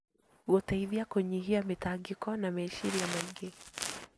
Gũteithia kũnyihia mĩtangĩko na meciria maingĩ.